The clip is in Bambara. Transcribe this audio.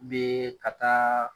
N bɛ ka taa.